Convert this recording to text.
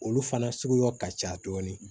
Olu fana suguya ka ca dɔɔni